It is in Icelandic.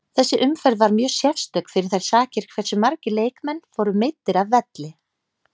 Þessi umferð var mjög sérstök fyrir þær sakir hversu margir leikmenn fóru meiddir af velli.